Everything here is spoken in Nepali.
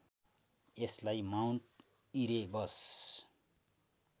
यसलाई माउन्ट इरेबस